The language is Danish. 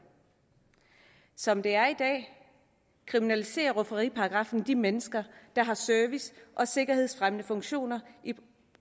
som det er i dag kriminaliserer rufferiparagraffen de mennesker der har service og sikkerhedsfremmende funktioner i